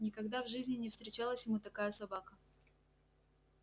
никогда в жизни не встречалась ему такая собака